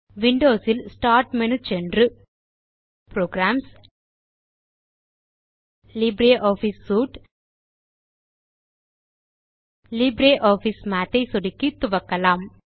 Windows இல் start menu சென்று புரோகிராம்ஸ்க்ட்க்ட் லிப்ரியாஃபிஸ் சூட்டெக்ட்க்ட் லிப்ரியாஃபிஸ் மாத் ஐ சொடுக்கி துவக்கலாம்